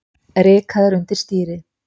Rykaðir undir stýri